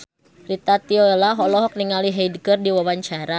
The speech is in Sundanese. Rita Tila olohok ningali Hyde keur diwawancara